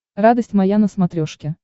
радость моя на смотрешке